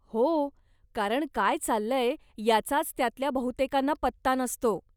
हो, कारण काय चाललंय याचाच त्यातल्या बहुतेकांना पत्ता नसतो.